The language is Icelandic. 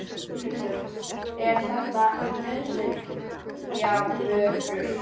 Þórhildur: Er þetta nauðsynjavörur?